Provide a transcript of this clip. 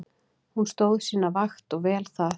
Hún stóð sína vakt og vel það.